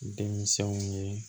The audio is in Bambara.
Denmisɛnw ye